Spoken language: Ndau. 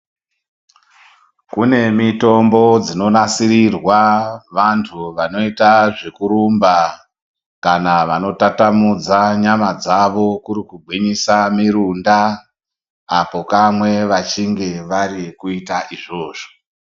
Kune mitombo dzino nasirirwa vantu vanoyita zvekurumba, kana vano tatamudza nyama dzavo kuri kugwinyisa mirunda, apo kamwe vachinge vari kuyita izvozvo.